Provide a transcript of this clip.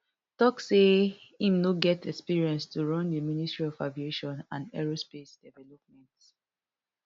tok say im no get experience to run di ministry of aviation and aerospace development